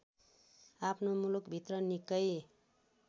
आफ्नो मुलुकभित्र निकै